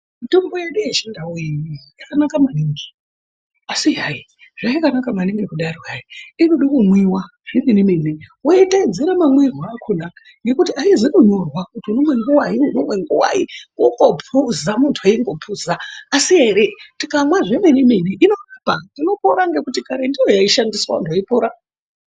Mitombo yedu yeChiNdau iyi yakanaka maningi asi hai zvayakanaka maningi kudaro hai, inodo kumwiwa zvemene mene, woiteedzera mamwirwe akona ngekuti haizi kunyorwa kuti unomwe nguwai, unomwe nguwai. Kungophuza muntu eingophuza. Asi ere tikamwa zvemene mene inorapa, unopora ngekuti kare ndiyo yaishandiswa vantu veipora.